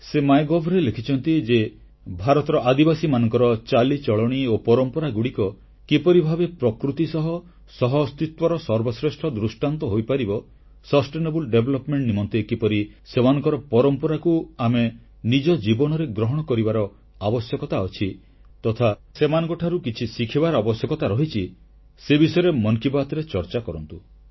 ସେ ମାଇଗଭ୍ ରେ ଲେଖିଛନ୍ତି ଯେ ଭାରତର ଆଦିବାସୀମାନଙ୍କର ଚାଲିଚଳଣୀ ଓ ପରମ୍ପରାଗୁଡ଼ିକ କିପରି ଭାବେ ଆମ ପ୍ରକୃତି ଓ ପରିବେଶ ସଙ୍ଗେ ସହଅସ୍ତିତ୍ୱର ସର୍ବଶ୍ରେଷ୍ଠ ଦୃଷ୍ଟାନ୍ତ ହୋଇପାରିବ ପୋଷଣୀୟ ବା ନିରନ୍ତର ବିକାଶ ନିମନ୍ତେ କିପରି ସେମାନଙ୍କର ପରମ୍ପରାକୁ ଆମେ ନିଜ ଜୀବନରେ ଗ୍ରହଣ କରିବାର ଆବଶ୍ୟକତା ଅଛି ତଥା ସେମାନଙ୍କଠାରୁ କିଛି ଶିଖିବାର ଆବଶ୍ୟକତା ରହିଛି ସେ ବିଷୟରେ ମନ୍ କି ବାତରେ ଚର୍ଚ୍ଚା କରନ୍ତୁ